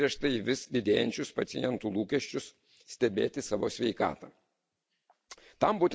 Juolab būtų atsigręžta į vis didėjančius pacientų lūkesčius stebėti savo sveikatą.